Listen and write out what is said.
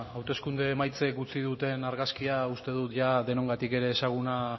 hauteskunde emaitzek utzi duten argazkia uste dut jada denongatik ezaguna